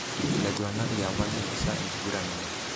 Laiguranak liapa neisisa enkiguran enye.